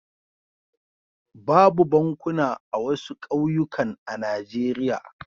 Babu bankuna a wasu ƙauyukan a Najeriya.